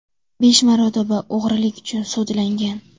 Besh marotaba o‘g‘rilik uchun sudlangan.